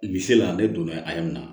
Bi se la ne donna a mɛna